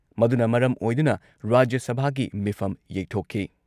ꯃꯗꯨꯅ ꯃꯔꯝ ꯑꯣꯏꯗꯨꯅ ꯔꯥꯖ꯭ꯌ ꯁꯚꯥꯒꯤ ꯃꯤꯐꯝ ꯌꯩꯊꯣꯛꯈꯤ ꯫